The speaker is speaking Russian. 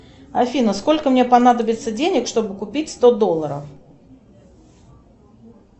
афина сколько мне понадобится денег чтобы купить сто долларов